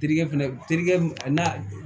Terikɛ fɛnɛ terikɛ a n'a